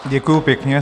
Děkuji pěkně.